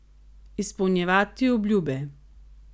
Izpolnjevati obljube.